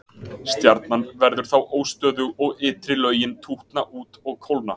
stjarnan verður þá óstöðug og ytri lögin tútna út og kólna